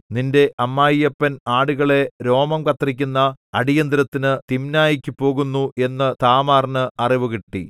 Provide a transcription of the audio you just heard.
നിന്റെ അമ്മായിയപ്പൻ ആടുകളെ രോമം കത്രിക്കുന്ന അടിയന്തരത്തിനു തിമ്നായ്ക്കു പോകുന്നു എന്നു താമാറിന് അറിവുകിട്ടി